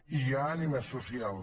i hi ha ànima social